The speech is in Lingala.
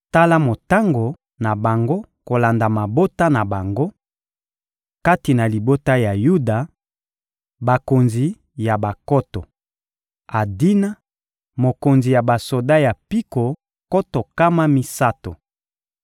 Tala motango na bango kolanda mabota na bango: Kati na libota ya Yuda, bakonzi ya bankoto: Adina, mokonzi ya basoda ya mpiko nkoto nkama misato;